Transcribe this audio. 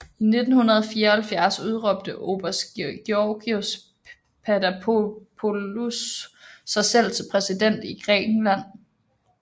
I 1974 udråbte oberst Georgios Papadopoulos sig selv til præsident i Grækenland